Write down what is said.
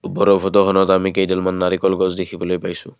ওপৰৰ ফটোখনত আমি কেইডালমান নাৰিকল গছ দেখিবলৈ পাইছোঁ।